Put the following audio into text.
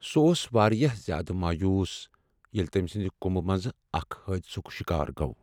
سُہ اوٚس واریاہ زیادٕ مایوس ییلِہ تٔمۍ سند كمبہٕ منٛز اکھ حٲدثُک شکار گوٚو ۔